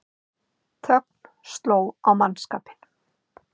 Þögn sló á mannskapinn.